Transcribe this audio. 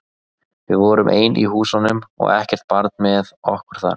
Við vorum ein í húsunum og ekkert barn með okkur þar.